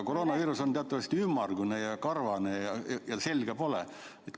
Koroonaviirus on teatavasti ümmargune ja karvane ja selga tal pole.